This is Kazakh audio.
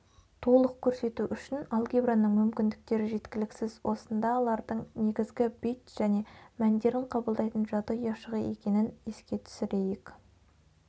толық көрсету үшін алгебраның мүмкіндіктері жеткіліксіз осында лардың негізі бит және мәндерін қабылдайтын жады ұяшығы екенін еске түсірейік